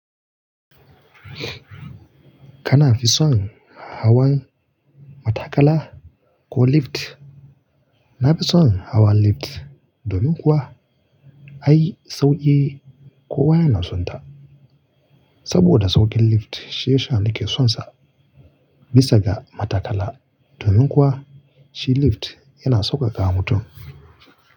Kana fi son hawan matakala ko lift? Na fi son hawan lift domin kuwa ai sauƙi kowa yana sonta. Saboda sauƙin lift shi ya sha na ke sonsa bisa ga matakala. Domin kuwa shi lift yana saukakawa mutum.